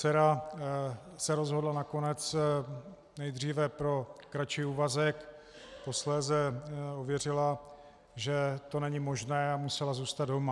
Dcera se rozhodla nakonec nejdříve pro kratší úvazek, posléze uvěřila, že to není možné, a musela zůstat doma.